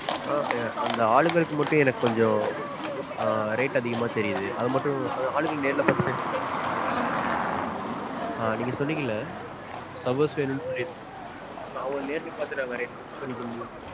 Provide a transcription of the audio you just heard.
ஆஹ் அந்த ஆளுங்களுக்கு மட்டும் எனக்கு கொஞ்சம் rate அதிகமா தெரியுது. அது ஆளுங்கள நேர்ல பாத்து பேசலாமா? ஆஹ் நீங்க சொன்னீங்கல்ல servers வேணுன் சொல்லி. அவங்கள நேர்ல பாத்து